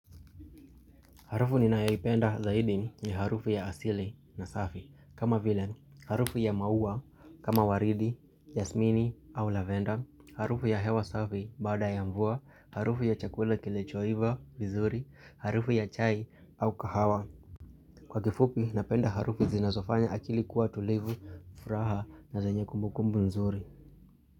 Harufu ninaipenda zaidi ni harufu ya asile na safi kama vilani, harufu ya maua kama waridi, jasmini au lavenda, harufu ya hewa safi baada ya mvua, harufu ya chakula kili choiva vizuri, harufu ya chai au kahawa. Kwa kifupi napenda harufu zinazofanya akili kuwa tulivu, furaha na zenyekumbukumbu nzuri.